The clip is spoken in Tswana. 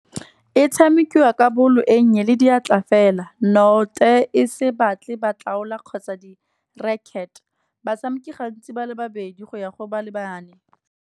E tshamekiwa ka ball e nnye le diatla fela. e se batle batlaola kgotsa di-racquet. Batshameki gantsi ba le babedi go ya go ba lebane.